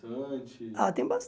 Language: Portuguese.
Ah tem